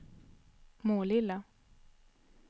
Målilla